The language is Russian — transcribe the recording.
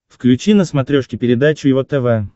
включи на смотрешке передачу его тв